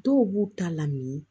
Dɔw b'u ta lamini